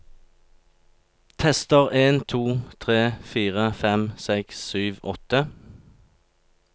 Tester en to tre fire fem seks sju åtte